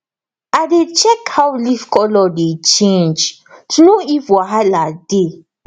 i dey check how leaf colour dey change to know if wahala dey